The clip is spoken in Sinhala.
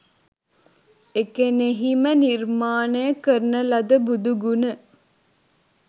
එකෙණෙහි ම නිර්මාණය කරන ලද බුදු ගුණ